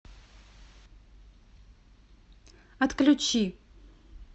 отключи